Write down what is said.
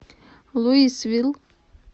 луисвилл